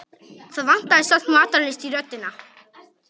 Það vantaði samt matarlyst í röddina.